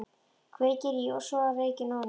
Kveikir í og sogar reykinn ofan í sig.